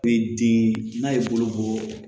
Bɛ di n'a ye bolo bɔ